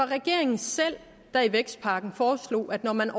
regeringen selv der i vækstpakken foreslog at når man